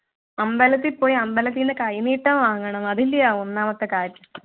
അമ്പലത്തിൽ പോയി അമ്പലത്തിൽന്നു കൈനീട്ടം വാങ്ങണം അതിൻ്റെയാ ഒന്നാമത്തെ കാര്യം